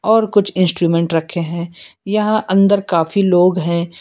और कुछ इंस्ट्रूमेंट रखे हैं यहां अंदर काफी लोग हैं।